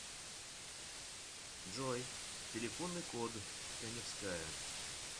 джой телефонный код каневская